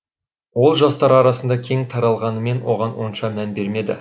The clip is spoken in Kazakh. ол жастар арасында кең таралғанымен оған онша мән бермеді